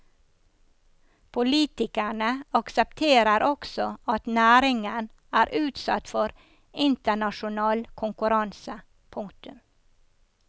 Politikerne aksepterer også at næringen er utsatt for internasjonal konkurranse. punktum